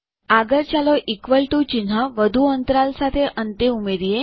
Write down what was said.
આગળ ચાલો equal to ચિહ્ન વધુ અંતરાલ સાથે અંતે ઉમેરીએ